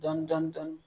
Dɔɔnin dɔɔnin